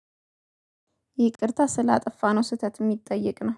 ይቅርታ ስላጠፋነው ስህተት የሚጠየቅ ነው